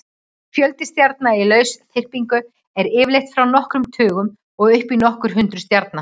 Fjöldi stjarna í lausþyrpingu er yfirleitt frá nokkrum tugum og upp í nokkur hundruð stjarna.